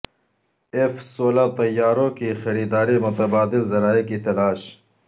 F سولہ طیاروں کی خریداری متبادل ذرائع کی تلاش